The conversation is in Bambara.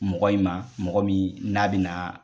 Mɔgɔ in ma, mɔgɔ min n'a bina na